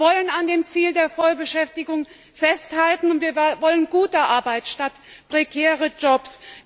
Wir wollen an dem Ziel der Vollbeschäftigung festhalten, und wir wollen gute Arbeit statt prekärer Jobs.